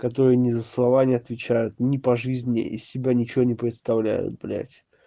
который не за слова не отвечают не по жизни из себя ничего не представляют блять